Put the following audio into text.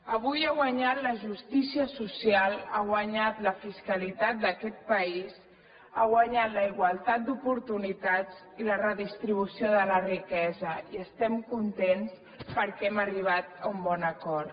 avui ha guanyat la justícia social ha guanyat la fiscalitat d’aquest país ha guanyat la igualtat d’oportunitats i la redistribució de la riquesa i estem contents perquè hem arribat a un bon acord